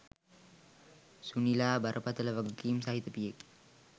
සුනිලා බරපතල වගකීම් සහිත පියෙක්.